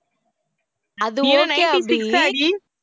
அது okay அபி